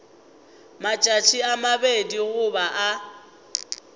matšatši a mabedi goba a